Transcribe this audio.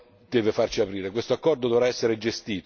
Un altro elemento però deve farci aprire.